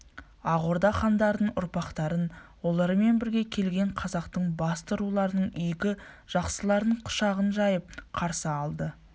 ақ орда хандарының ұрпақтарын олармен бірге келген қазақтың басты руларының игі жақсыларын құшағын жайып қарсы алды